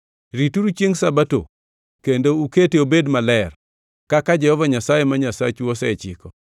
Rituru chiengʼ Sabato kendo ukete obed maler, kaka Jehova Nyasaye ma Nyasachu osechikou.